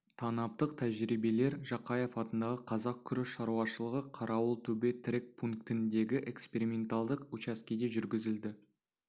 танаптық тәжірибелер жақаев атындағы қазақ күріш шаруашылығы қарауылтөбе тірек пунктіндегі эксперименталдық учаскеде жүргізілді